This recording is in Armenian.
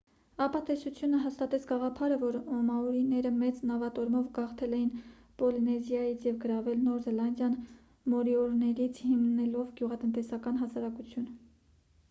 ապա տեսությունը հաստատեց գաղափարը որ մաորիները մեծ նավատորմով գաղթել էին պոլինեզիայից և գրավել նոր զելանդիան մորիորիներից հիմնելով գյուղատնտեսական հասարակություն